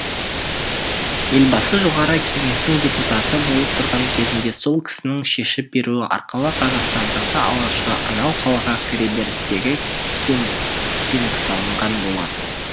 елбасы жоғары кеңестің депутаты болып тұрған кезінде сол кісінің шешіп беруі арқылы қазақстандағы алғашқы анау қалаға кіре берістегі кемпинг салынған болатын